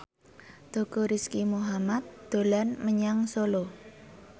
Teuku Rizky Muhammad dolan menyang Solo